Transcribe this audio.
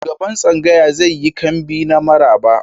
Shugaban tsangaya zai yi kambi na maraba.